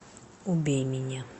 убей меня